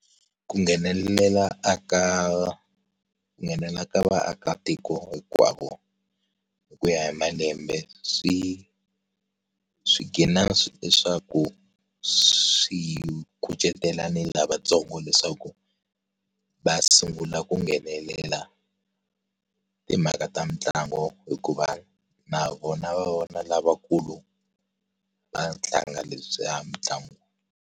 Ku nghenelela a ka ku nghenelela ka vaakatiko hinkwavo hi ku ya hi malembe swi, swi ghina leswaku swi kucetela ni lavatsongo leswaku, va sungula ku nghenelela, timhaka ta mitlangu hikuva na vona va vona lavakulu va tlanga lebyiya mitlangu.